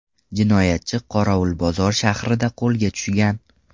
Jinoyatchi Qorovulbozor shahrida qo‘lga tushgan.